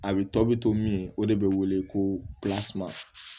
A bɛ tɔ bɛ to min ye o de bɛ wele ko